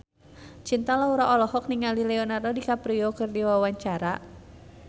Cinta Laura olohok ningali Leonardo DiCaprio keur diwawancara